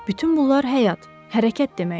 Bütün bunlar həyat, hərəkət deməkdir.